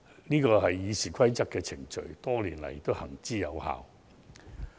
這是《議事規則》訂定的程序，多年來行之有效。